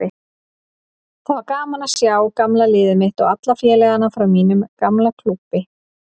Það var gaman að sjá gamla liðið mitt og alla félagana frá mínum gamla klúbbi.